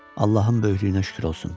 Allahın böyüklüyünə şükür olsun.